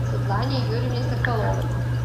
светлане юрьевне соколовой